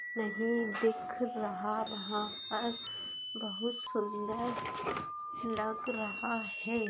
नहीं दिख रहा वहां पर बहुत सुन्दर लग रहा है।